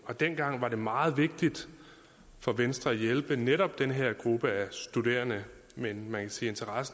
dengang var det meget vigtigt for venstre at hjælpe netop den her gruppe af studerende men man kan sige